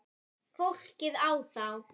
Fólkið á þá.